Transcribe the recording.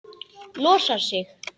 Losar sig.